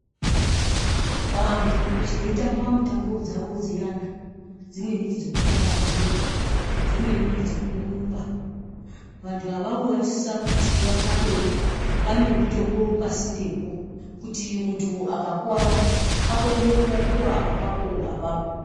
Vandu vetamba mutambo dzavo dziyani dzimweni ndedzekukaba bhora dzimweni ngedzekurumba vandu avavo vanosisa kuti vakabe panemutombo pasinde kuitira kuti mundu akakuwara akone kurapiwa apapo apapo.